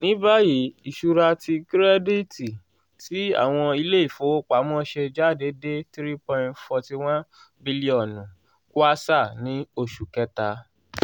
nibayi iṣura ti kirẹditi ti awọn ile-ifowopamọ ṣe jade de three point forty one bilion kwanza ni oṣu kẹta.